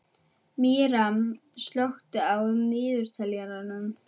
Miriam, slökktu á niðurteljaranum.